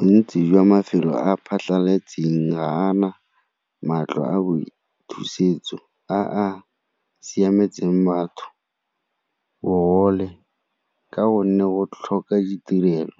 Bontsi jwa mafelo a phatlhaletseng ga a na matlo a boithusetso a a siametseng batho, bogole ka gonne go tlhoka ditirelo,